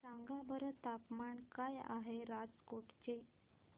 सांगा बरं तापमान काय आहे राजकोट चे